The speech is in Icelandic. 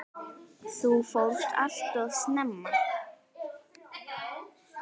Þú fórst allt of snemma.